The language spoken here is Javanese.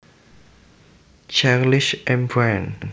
Charles M Brand